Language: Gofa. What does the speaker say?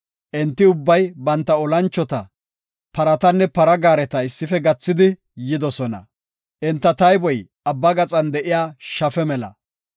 Enti ubbay, banta olanchota, paratanne para gaareta issife gathidi yidosona. Enta tayboy abba gaxan de7iya shafe mela.